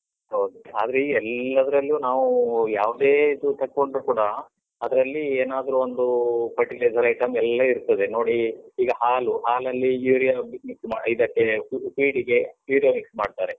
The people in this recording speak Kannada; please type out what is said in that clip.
ಹೌದು, ಆದ್ರೆ ಈ ಎಲ್ಲದ್ರಲ್ಲೂ ನಾವು ಯಾವುದೇ ಇದು ತೆಕ್ಕೊಂಡ್ರೂ ಕೂಡಾ, ಅದ್ರಲ್ಲಿ ಏನಾದ್ರೂ ಒಂದು fertilizer item ಎಲ್ಲ ಇರ್ತದೆ. ನೋಡಿ, ಈಗ ಹಾಲು, ಹಾಲಲ್ಲಿ urea ಇದಕ್ಕೆ feed ಗೆ urea mix ಮಾಡ್ತಾರೆ.